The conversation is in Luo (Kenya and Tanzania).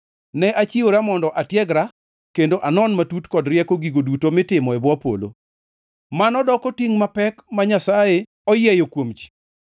Ne achiwora mondo atiegra kendo anon matut kod rieko gigo duto mitimo e bwo polo. Mano doko tingʼ mapek ma Nyasaye oyieyo kuom ji!